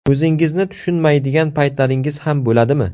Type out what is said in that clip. O‘zingizni tushunmaydigan paytlaringiz ham bo‘ladimi?